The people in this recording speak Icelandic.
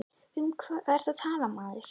Um hvað ertu að tala maður?